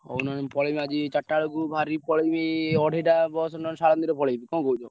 ହଉ ନହେଲେ ମୁଁ ପଳେଇବି ଆଜି ଚାରିଟାବେଳକୁ ବାହାରିକି ପଳେଇବି ଅଢେଇଟା bus ନହେଲେ ଶାଳନ୍ଦୀରେ ପଳେଇବି କଣ କହୁଛ?